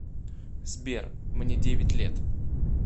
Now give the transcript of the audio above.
сбер мне девять лет